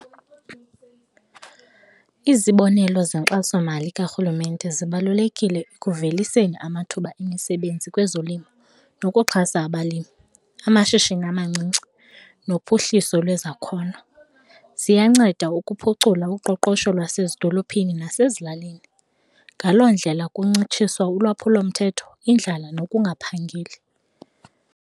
Izibonelo zenkxasomali karhulumente zibalulekile ekuveliseni amathuba emisebenzi kwezolimo nokuxhasa abalimi, amashishini amancinci nophuhliso kwezakhono. Ziyanceda ukuphucula uqoqosho lwasezidolophini nasezilalini ngaloo ndlela kuncitshiswa ulwaphulomthetho, indlala nokungaphangeli.